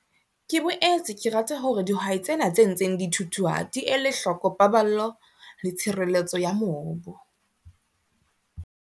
Ke boetse ke rata hore dihwai tsena tse ntseng di thuthuha di ele hloko paballo le tshireletso ya mobu.